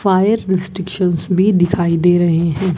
Fire restriction भी दिखाई दे रहे हैं।